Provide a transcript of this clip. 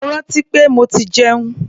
Mo rántí pé mo ti jẹun.